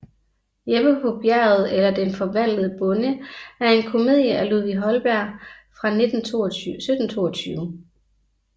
Jeppe på Bjerget eller Den forvandlede Bonde er en komedie af Ludvig Holberg fra 1722